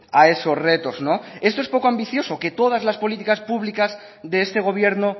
a esos retos no esto es poco ambicioso que todas las políticas públicas de este gobierno